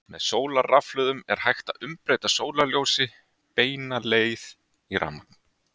Með sólarrafhlöðum er hægt að umbreyta sólarljósi beina leið í rafmagn.